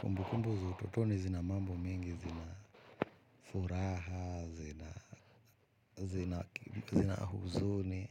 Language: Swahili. Kumbukumbu za utotoni zina mambo mengi, zina furaha, zina zina huzuni